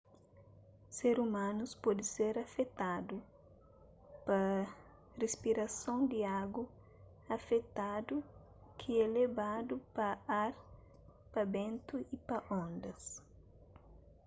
ser umanus pode ser afetadu pa rispirason di agu afetadu ki é lebadu pa ar pa bentu y pa ondas